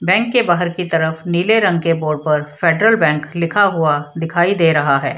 Bank के बाहर की तरफ नीले रंग के बॉर्ड पर फेडरल बैंक लिखा हुआ दिखाई दे रहा है।